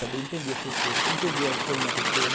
Saber entender as pessoas, entender o problema da pessoa.